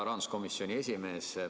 Hea rahanduskomisjoni esimees!